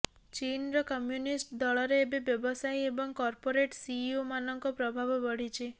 ଚୀନର କମ୍ୟୁନିଷ୍ଟ ଦଳରେ ଏବେ ବ୍ୟବସାୟୀ ଏବଂ କର୍ପୋରେଟ୍ ସିଇଓମାନଙ୍କ ପ୍ରଭାବ ବଢିଛି